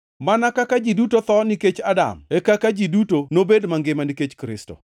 Mana kaka ji duto tho nikech Adam, e kaka ji duto nobed mangima nikech Kristo.